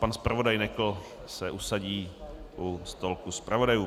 Pan zpravodaj Nekl se usadí u stolku zpravodajů.